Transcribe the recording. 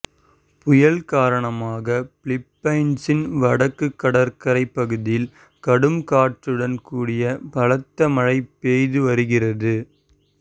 புயல் காரணமாக பிலிப்பைன்ஸின் வடக்கு கடற்கரை பகுதியில் கடும் காற்றுடன் கூடிய பலத்த மழை பெய்து வருகிறது